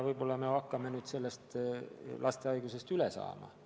Võib-olla me hakkame nüüd sellest lastehaigusest üle saama.